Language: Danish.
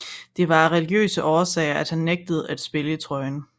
Det var af religiøse årsager at han nægtede at spille i trøjen